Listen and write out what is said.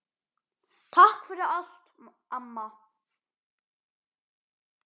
Takk fyrir allt, amma.